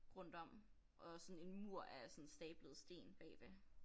Rundt om og sådan en mur af sådan stablede sten bagved